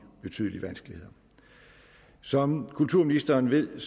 betydelige vanskeligheder som kulturministeren ved